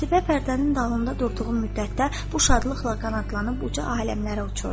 Qətibə pərdənin dalında durduğu müddətdə bu şadlıqla qanadlanıb uca aləmlərə uçurdu.